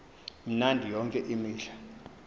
mnandi yonke imihla